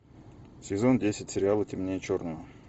сезон десять сериала темнее черного